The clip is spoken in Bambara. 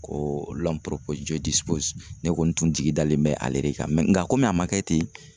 Ko ne kɔni tun jigi dalen bɛ ale de kan nga komi a ma kɛ ten